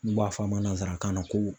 N'u b'a fɔ a ma nansarakan na ko